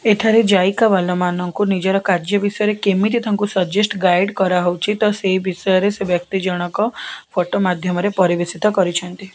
ଏଠାରେ ଯାଇକା ବାଲା ମାନଙ୍କୁ ନିଜର କାର୍ଯ୍ୟ ବିଷୟରେ କେମିତି ତାଙ୍କୁ ସଜେଷ୍ଟ ଗାଇଡ କରା ହଉଛି ତ ସେଇ ବିଷୟରେ ସେ ବ୍ୟକ୍ତି ଜଣକ ଫଟୋ ମାଧ୍ୟମରେ ପରିବେଷିତ କରୁଛନ୍ତି।